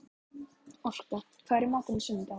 Orka, hvað er í matinn á sunnudaginn?